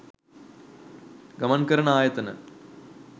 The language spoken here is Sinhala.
ගමන් කරන ආයතන